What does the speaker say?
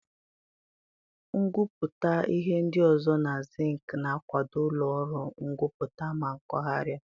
Ngwuputa ihe ndi ozo na zinc na-akwado ulo oru Ngwuputa na mpaghara.